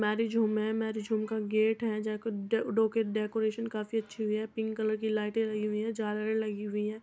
Marriage home है। Marriage home का gate है डेको डेकोरेशन काफी अच्छी हुई है पिंक कलर की लाइटें लगी हुई हैं झालरें लगी हुई हैं।